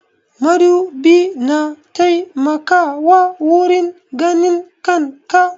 Madubi na taimakawa wurin ganin kan ka.